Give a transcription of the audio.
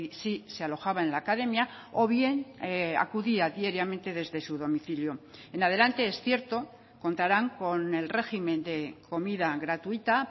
si se alojaba en la academia o bien acudía diariamente desde su domicilio en adelante es cierto contarán con el régimen de comida gratuita